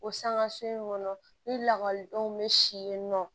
O sanŋa so in kɔnɔ ni lakɔlidenw be si yen nɔ